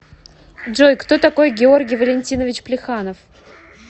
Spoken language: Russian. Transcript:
джой кто такой георгий валентинович плеханов